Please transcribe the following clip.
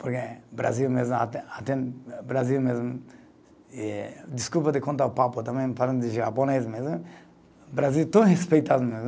Porque o Brasil mesmo, até até, o Brasil mesmo, eh desculpa de contar o papo, também, falando de japonês, mas eh, o Brasil é tão respeitado mesmo.